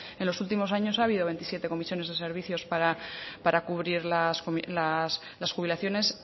en los últimos años ha habido veintisiete comisiones de servicios para cubrir las jubilaciones